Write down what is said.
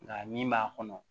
Nka min b'a kɔnɔ